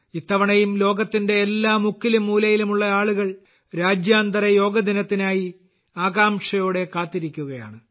ഇത്തവണയും ലോകത്തിന്റെ എല്ലാ മുക്കിലും മൂലയിലും ഉള്ള ആളുകൾ രാജ്യാന്തര യോഗ ദിനത്തിനായി ആകാംക്ഷയോടെ കാത്തിരിക്കുകയാണ്